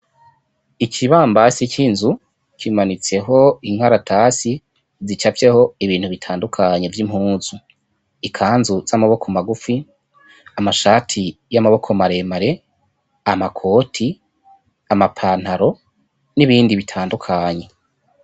Ikibambasi c'inzu kimanitseho inkaratsi zicafyeho ibintu bitandukanye vyimpuzu ikanzu zamaboko magufi, amashati y'amaboko maremare, amakoti, amapantaro n'ibindi bitandukanye.